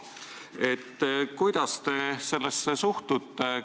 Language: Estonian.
Kuidas te sellesse suhtute?